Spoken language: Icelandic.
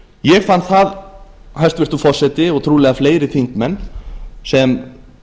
ég fann það hæstvirtur forseti og trúlega fleiri þingmenn sem